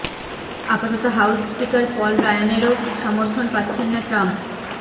আপাতত house speaker Paul রায়ানেরও সমর্থন পাচ্ছেন না ট্রাম্প